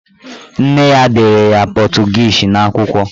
Nne ya dere ya pọtụgiizi n'akwụkwọ.